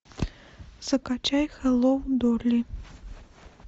закачай хеллоу дорли